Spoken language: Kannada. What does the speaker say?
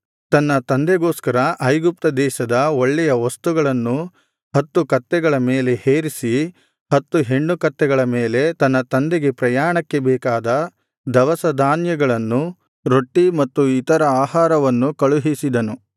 ತನ್ನ ತಂದೆಗೋಸ್ಕರ ಐಗುಪ್ತ ದೇಶದ ಒಳ್ಳೆಯ ವಸ್ತುಗಳನ್ನು ಹತ್ತು ಕತ್ತೆಗಳ ಮೇಲೆ ಹೇರಿಸಿ ಹತ್ತು ಹೆಣ್ಣುಕತ್ತೆಗಳ ಮೇಲೆ ತನ್ನ ತಂದೆಗೆ ಪ್ರಯಾಣಕ್ಕೆ ಬೇಕಾದ ದವಸ ಧಾನ್ಯಗಳನ್ನು ರೊಟ್ಟಿ ಮತ್ತು ಇತರ ಆಹಾರವನ್ನು ಕಳುಹಿಸಿದನು